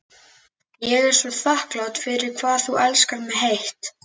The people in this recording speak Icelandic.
Ég er svo þakklát fyrir hvað þú elskar mig heitt.